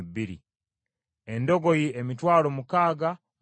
Endogoyi, emitwalo mukaaga mu lukumi (61,000),